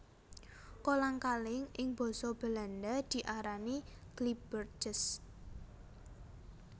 Kolang kaling ing basa Belanda diarani glibbertjes